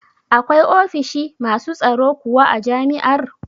Akwai ofishi masu tsaro kuwa a jami'ar?